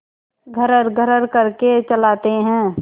घर्रघर्र करके चलाते हैं